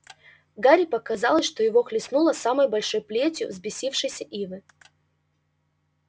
гарри показалось что его хлестнуло самой большой плетью взбесившейся ивы